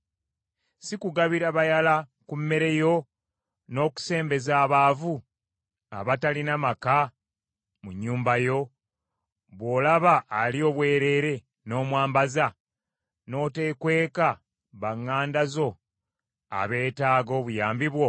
Si kugabira bayala ku mmere yo, n’okusembeza abaavu abatalina maka mu nnyumba yo; bw’olaba ali obwereere, n’omwambaza n’otekweka baŋŋanda zo abeetaaga obuyambi bwo?